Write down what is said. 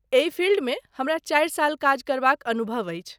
एहि फील्डमे हमरा चारि साल काज करबाक अनुभव अछि।